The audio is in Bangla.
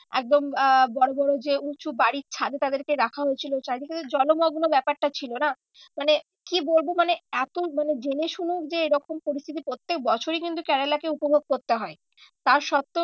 এখন আহ বড়ো বড়ো যে উঁচু বাড়ির ছাদে তাদেরকে রাখা হয়েছিল চারিদিকে তো জলমগ্ন ব্যাপারটা ছিল না। মানে কি বলবো মানে এত মানে জেনে শুনেও যে এরকম পরিস্থিতি প্রত্যেক বছরই কিন্তু কেরেলাকে উপভোগ করতে হয়। তার সত্ত্বেও